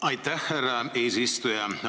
Aitäh, härra eesistuja!